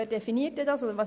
Wer definiert das dann?